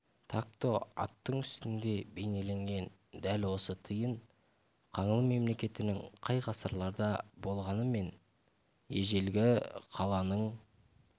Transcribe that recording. такто аттың үстінде бейнеленген дәл осы тиын қаңлы мемлекетінің қай ғасырларда болғаны мен ежелгі қаланың